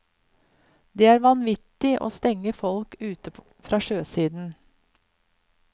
Det er vanvittig å stenge folk ute fra sjøsiden.